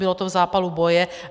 Bylo to v zápalu boje.